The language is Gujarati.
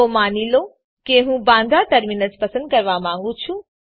તો માની લો કે હું બાંદ્રા ટર્મિનસ પસંદ કરવા માંગું છું